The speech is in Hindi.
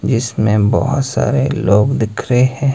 जिसमें बहोत सारे लोग दिख रहे हैं।